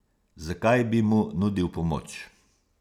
Zakaj bi mu nudil pomoč?